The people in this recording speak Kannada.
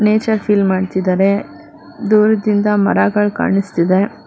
ನೇಚರ್ ಫೀಲ್ ಮಾಡ್ತಿದ್ದಾರೆ ದೂರದಿಂದ ಮರಗಳ್ ಕಾಣಿಸ್ತಿದೆ.